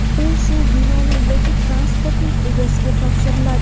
u shu binoning yoki transportning egasiga topshiriladi.